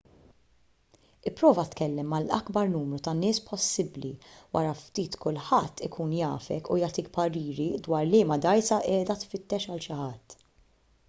ipprova tkellem mal-akbar numru ta' nies possibbli wara ftit kulħadd ikun jafek u jagħtik pariri dwar liema dgħajsa qiegħda tfittex għal xi ħadd